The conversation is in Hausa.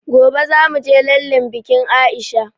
Gobe zamuje lallen bikin aisha